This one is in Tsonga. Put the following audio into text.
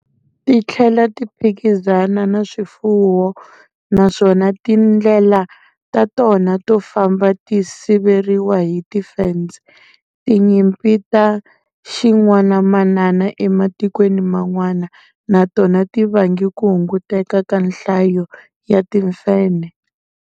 Titlhela ti phikizana na swifuwo naswona tindlela ta tona to famba ti siveriwa hi tifense. Tinyimpi ta xin'wanamanana ematikweni man'wana na tona ti vange ku hunguteka ka nhlayo ya timfenhe.